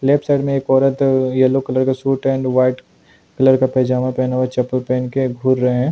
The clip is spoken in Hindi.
लेफ्ट साइड में एक औरत येल्लो कलर का सूट एंड व्हाइट कलर का पेजामा पहनावा चप्पल पहन के घूम रहे हैं।